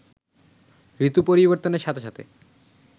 ঋতু পরিবর্তনের সাথে সাথে